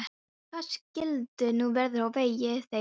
Hvað skyldi nú verða á vegi þeirra?